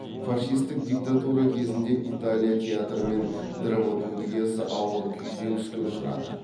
фашистік диктатура кезінде италия театры мен драматургиясы ауыр күйзеліске ұшырады